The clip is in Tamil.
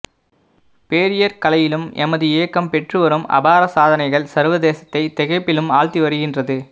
போரியற் கலையிலும் எமது இயக்கம் பெற்று வரும் அபார சாதனைகள் சர்வ தேசத்தை திகைப்பிலும் ஆழ்த்தி வருகின்றது